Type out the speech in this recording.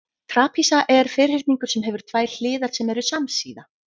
trapisa er ferhyrningur sem hefur tvær hliðar sem eru samsíða